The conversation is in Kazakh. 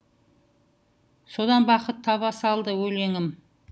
содан бақыт таба салды өлеңім